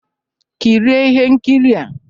Kirie ihe nkiri a!